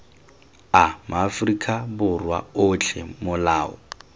a maaforika borwa otlhe molao